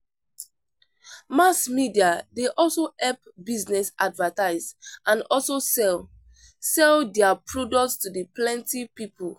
Mass media dey also help business advertise and also sell sell their products to the plenty people.